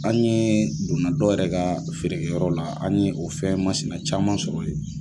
An ye donna dɔw yɛrɛ ka feere kɛyɔrɔ la, an ye o fɛn masina caman sɔrɔ yen!